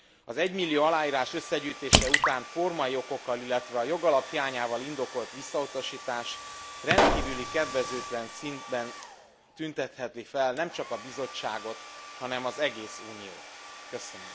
Az egymillió aláírás összegyűjtése után formai okokkal, illetve a jogalap hiányával indokolt visszautasítás rendkívül kedvezőtlen színben tüntetheti fel nemcsak a Bizottságot, hanem az egész Uniót is.